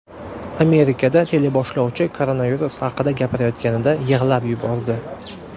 Amerikada teleboshlovchi koronavirus haqida gapirayotganida yig‘lab yubordi .